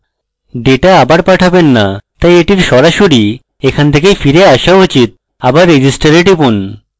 data আবার পাঠাবেন না তাই এটির সরাসরি এখান থেকে ফিরে so উচিত আবার register এ টিপুন